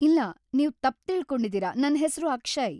ಇಲ್ಲ, ನೀವ್ ತಪ್ಪ್ ತಿಳ್ಕೊಂಡಿದೀರ, ನನ್ ಹೆಸ್ರು ಅಕ್ಷಯ್‌.